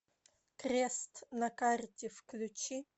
крест на карте включи